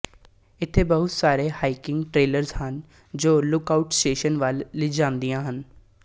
ਇੱਥੇ ਬਹੁਤ ਸਾਰੇ ਹਾਈਕਿੰਗ ਟ੍ਰੇਲਜ਼ ਹਨ ਜੋ ਲੁੱਕਆਉਟ ਸਟੇਸ਼ਨ ਵੱਲ ਲਿਜਾਂਦੀਆਂ ਹਨ